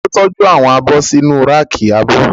Ta ló tọ́jú àwọn abọ́ sínu ráàkì abọ́?